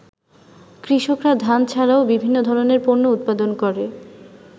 “কৃষকরা ধান ছাড়াও বিভিন্ন ধরনের পণ্য উৎপাদন করে।